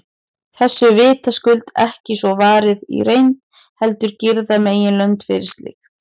Þessu er vitaskuld ekki svo varið í reynd, heldur girða meginlönd fyrir slíkt.